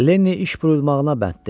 Lenny iş buyrulmağına bənddir.